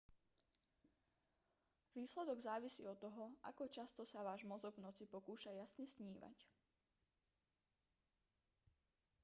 výsledok závisí od toho ako často sa váš mozog v noci pokúša jasne snívať